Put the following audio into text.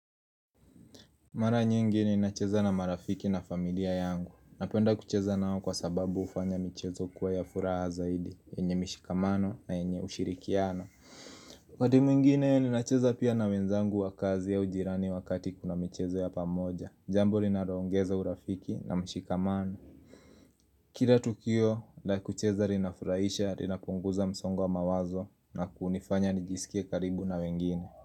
Mara nyingi ninacheza na marafiki na familia yangu, napenda kucheza nao kwa sababu hufanya michezo kuwa ya furaha zaidi, yenye mishikamano na yenye ushirikiano Wakati mwingine ninacheza pia na wenzangu wa kazi au jirani wakati kuna michezo ya pamoja, jambo linaro ongeza urafiki na mshikamano Kira tukio, la kucheza rinafuraisha, linapunguza msongo mawazo na kuunifanya nijisikie karibu na wengine.